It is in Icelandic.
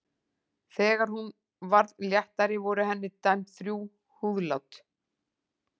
Þegar hún varð léttari voru henni dæmd þrjú húðlát.